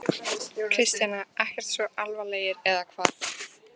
Kristjana: Ekkert svo alvarlegir, eða hvað?